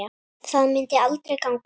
Það myndi aldrei ganga upp.